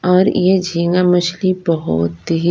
और ये झींगे मछली बहुत ही--